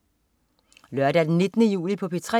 Lørdag den 19. juli - P3: